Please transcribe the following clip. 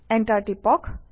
enter টিপক